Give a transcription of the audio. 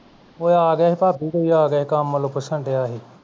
ਔਹ ਆ ਗਿਆ ਸੀ ਭਾਬੀ ਕੋਈ ਆ ਗਿਆ ਸੀ ਕੰਮ ਵਲੋਂ ਪੁੱਛਣ ਡਆਸੀ